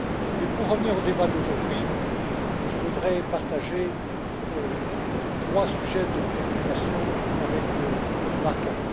Mais, pour revenir au débat d'aujourd'hui, je voudrais partager trois sujets de préoccupation avec Othmar Karas.